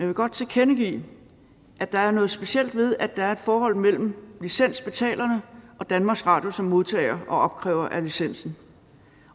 vil godt tilkendegive at der er noget specielt ved at der er et forhold mellem licensbetalerne og danmarks radio som modtager og opkræver af licensen